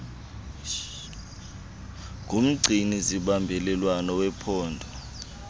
ngumgcini zimbalelwano wephondo